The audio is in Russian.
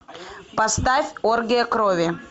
поставь оргия крови